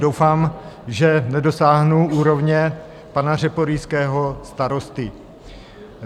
Doufám, že nedosáhnu úrovně pana řeporyjského starosty.